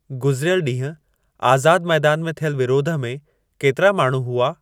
गुज़िरियल ॾींहुं आज़ादु मैदान में थियल विरोध में केतिरा माण्हू हुआ